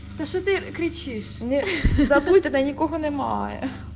кричишь не забудь она не понимаю